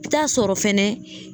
I bi taa sɔrɔ fɛnɛ